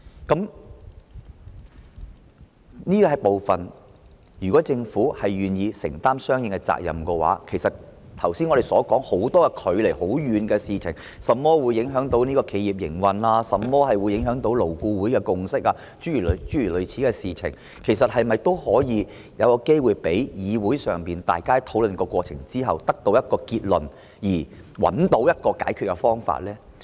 就這個部分，如果政府願意承擔相應的責任，其實我們剛才說很多距離很遠的事情，例如影響企業營運、影響勞顧會共識等事情，是否也可以有機會讓議會經過討論後得出一個結論，並找到一個解決方法呢？